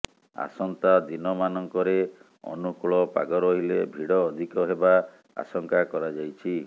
ଆସନ୍ତା ଦିନମାନଙ୍କରେ ଅନୁକୂଳ ପାଗ ରହିଲେ ଭିଡ଼ ଅଧିକ ହେବା ଆଶଙ୍କା କରାଯାଇଛି